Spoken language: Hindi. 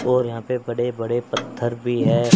और यहां पे बड़े बड़े पत्थर भी हैं।